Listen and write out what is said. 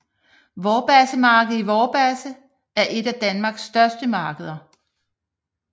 Vorbasse Marked i Vorbasse er et af Danmarks største markeder